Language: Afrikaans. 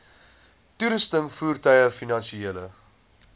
toerusting voertuie finansiële